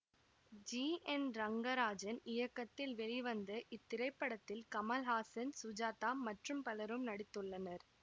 G N Rangarajan இயக்கத்தில் வெளிவந்த இத்திரைப்படத்தில் கமல்ஹாசன் சுஜாதா மற்றும் பலரும் நடித்துள்ளனர்